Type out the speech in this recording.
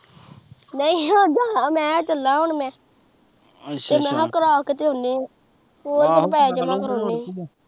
ਨਹੀਂਓ ਜਾਣਾਮੈਂ ਚੱਲਾ ਮੈਂ ਤੇ ਮੈਂ ਕਿਹਾ ਕਰਾ ਕੇ ਹੁਣ ਮੈਂ ਓਹੀ ਤੇ ਪੈਸੇ ਜਮਾ ਕਰਾਉਨੇ ਸੀ